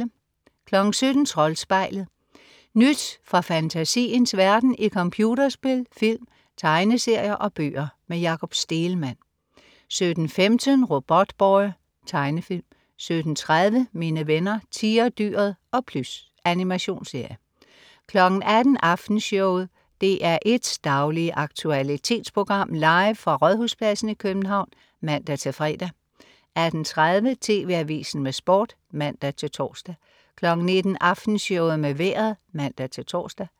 17.00 Troldspejlet. Nyt fra fantasiens verden i computerspil, film, tegneserier og bøger. Jakob Stegelmann 17.15 Robotboy. Tegnefilm 17.30 Mine venner Tigerdyret og Plys. Animationsserie 18.00 Aftenshowet. DR1s daglige aktualitetsprogram, live fra Rådhuspladsen i København (man-fre) 18.30 TV Avisen med Sport (man-tors) 19.00 Aftenshowet med Vejret (man-tors)